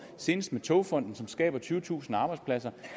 senest med togfonden dk som skaber tyvetusind arbejdspladser